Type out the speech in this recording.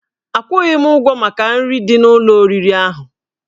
Akwụghị m ụgwọ maka nri dị n'ụlọ oriri ahụ